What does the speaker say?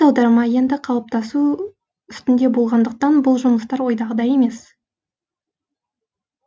аударма енді қалыптасу үстінде болғандықтан бұл жұмыстар ойдағыдай емес